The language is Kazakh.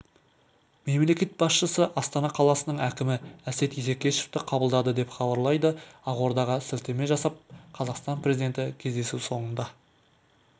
мемлекет басшысы астана қаласының әкімі әсет исекешевті қабылдады деп хабарлайды ақордаға сілтеме жасап қазақстан президенті кездесу соңында